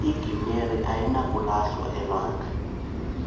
igiyeri ayinakulahlwa elwandle